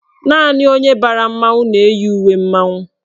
Naanị onye bara mmanwụ na-eyi uwe mmanwụ.